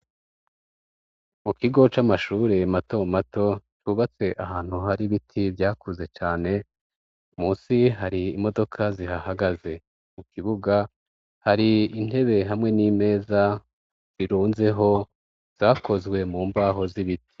Mu kigo c'amashure mato mato, cubatse ahantu hari ibiti vyakuze cane, munsi hari imodoka zihahagaze, mu kibuga hari intebe hamwe n'imeza zirunzeho zakozwe mu mbaho z'ibiti.